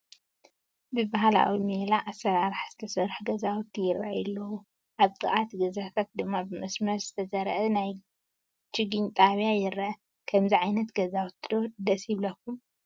ብባህላዊ ሜላ ኣሰራርሓ ዝተሰርሑ ገዛውቲ ይራኣዩ ኣለው፡፡ ኣብ ጥቓ እቲ ገዛታት ድማ ብመስመር ዝተዘርአ ናይ ችግኝ ጣብያ ይረአ፡፡ ከምዚ ዓይነት ገዛውቲ ዶ ደስ ይብለኩም?